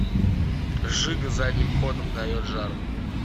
жига задним ходом дает жару